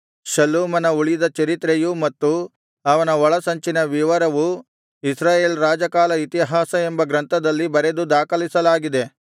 ಶಲ್ಲೂಮನ ಉಳಿದ ಚರಿತ್ರೆಯೂ ಮತ್ತು ಅವನ ಒಳಸಂಚಿನ ವಿವರವೂ ಇಸ್ರಾಯೇಲ್ ರಾಜಕಾಲ ಇತಿಹಾಸ ಎಂಬ ಗ್ರಂಥದಲ್ಲಿ ಬರೆದು ದಾಖಲಿಸಲಾಗಿದೆ